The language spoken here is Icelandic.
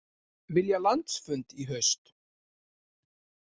Vilja landsfund í haust